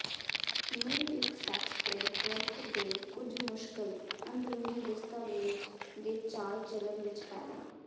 ਨੂੰ ਇੱਕ fax print ਵਰਤ ਦੇ ਕੁਝ ਮੁਸ਼ਕਲ ਅੰਦਰੂਨੀ ਦਸਤਾਵੇਜ਼ ਦੇ ਚਾਲ ਚਲਣ ਵਿੱਚ ਪੈਦਾ